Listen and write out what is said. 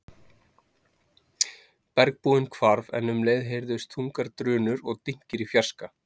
Bergbúinn hvarf en um leið heyrðust þungar drunur og dynkir í fjarska.